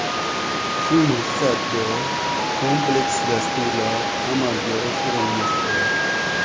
Shu maqsadda kompleks dasturlar amalga oshirilmoqda.